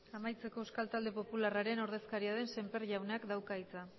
amaitzeko euskal talde popularraren ordezkaria den sémper jaunak dauka hitza